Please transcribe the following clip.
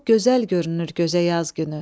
çox gözəl görünür gözə yaz günü.